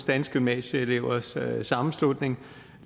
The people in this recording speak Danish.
danske gymnasieelevers sammenslutning